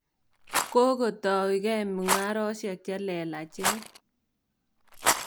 Kokotoukei mung'aresyek che lelachen.